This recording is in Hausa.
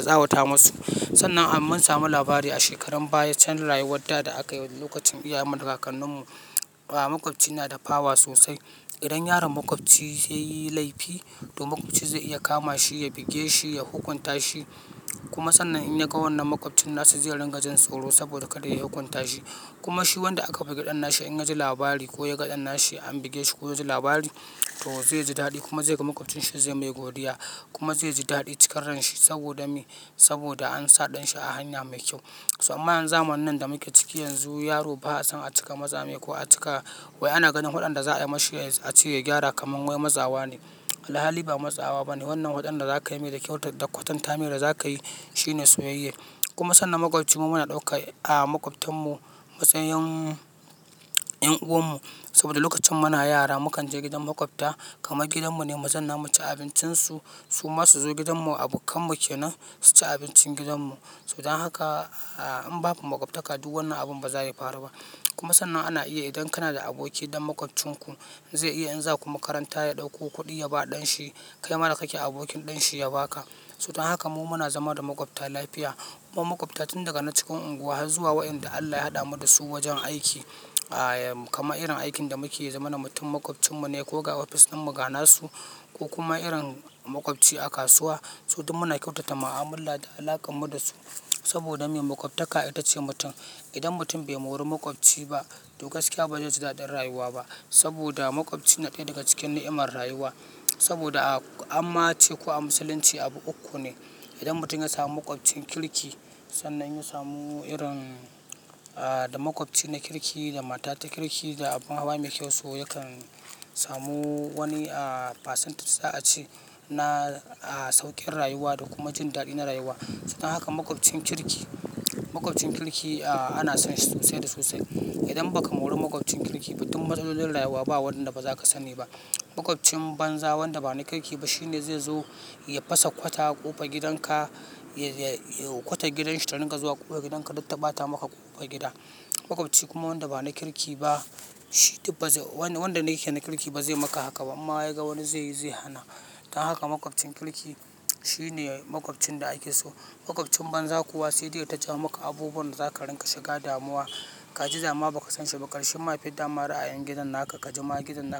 tsawata masu. Sannan mun samu labari a shekarun baya can rayuwa da da aka yi lokacin iyayenmu, kakanninmu. Makwabci yana da power sosai. Idan yaron makwabci ya yi laifi to makwabci zai iya kama shi, ya buge shi, ya hukunta shi. Kuma sannan in ya ga wannan makwabcin nasa zai ringa jin tsoro saboda kada ya hukunta shi. Kuma shi wanda aka bugi ɗan nashi in ya ji labari ko ya ga ɗan nashi an buge shi ko ya ji labari toh zai ji daɗi kuma zai ga makwabcin shi zai mai godiya kuma zai ji daɗi cikan ran shi saboda an sa ɗan shi a hanya mai kyau. Amma yanzu zamanin da muke ciki yanzu yaro ba a son a cika matsa mai ko a cika wai ana ganin fadan da za'a yi mashi a ce ya gyara kamar wai matsawa ne. Alhali ba matsawa ba ne. Wannan fadan da za ka yi mai da kyau da kwatanta mai da za ka yi shi ne soyayya. Kuma sannan makwabci mu muna ɗauka a makwabtarmu matsayin 'yan uwan mu. Saboda lokacin muna yara mu kan je gidan makwabta kamar gidan mu ne, mu zauna, mu ci abincin su. Su ma su zo gidan mu abokan mu kenan su ci abincin gidan mu. To don haka in babu makwabtaka duk wannan abun ba za ya faru ba. Kuma sannan ana iya idan kana da aboki ɗan makwabcinku zai iya in za ku makaranta ya ɗauko kuɗi ya ba ɗan shi. Kai ma da kake abokin ɗan shi ya ba ka. Sutun haka mu muna zama da makwabta lafiya. Kuma makwabta tun daga na cikin unguwa har zuwa waɗanda Allah ya haɗa mu da su wajen aiki. Kaman irin aikin da muke yi mu zama da mutum makwabcinku ne ko ga ofis ɗin mu ga na su ko kuma irin makwabci a kasuwa. So duk muna kyautata ma'amala da alaƙar mu da su. Saboda me? Makwabtaka ita ce mutum. Idan mutum bai mori makwabci ba toh gaskiya ba zai ji daɗin rayuwa ba saboda makwabci na ɗaya daga cikin na'in rayuwa. Saboda amma ce kuwa a Musulunci abu uku ne idan mutum ya samu makwabcin kirki. Sannan ya samu irin da makwabci na kirki da mata ta kirki da abun hawa mai kyau. So yakan samu wani percentage za'a ce na sauƙin rayuwa da kuma jin daɗi na rayuwa. Don haka makwabcin kirki, makwabcin kirki ana son shi sosai da sosai. Idan ba ka mori makwabcin kirki ba tun matsalolin rayuwa ba waɗanda ba za ka sani ba. Makwabcin banza wanda ba na kirki ba shi ne zai zo ya fasa kwata a ƙofar gidanka. Kwatar gidanshi ta dinga zuwa ƙofar gidanka duk ta ɓata maka ƙofar gida. Makwabci kuma wanda ba na kirki ba shi wanda yake na kirki ba zai maka haka ba in ma ya ga wani zai yi zai hana. Don haka makwabcin kirki shi ne makwabcin da ake so. Makwabcin banza kuwa sai dai ya taja maka abubuwan da za ka ringa shiga damuwa. Ka ji dama ba ka san shi ba karshen ma ya fidda ma ra'ayin gidan naka. Ka ji ma gidan naka.